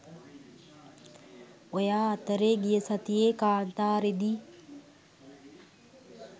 ඔයා අතරේ ගිය සතියේ කාන්තාරේ දි